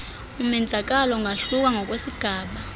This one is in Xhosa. umenzakalo ungahluka ngokwesigaba